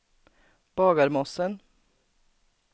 Bagarmossen